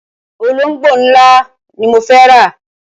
Olóngbó ńlá ni mo fẹ́ rà.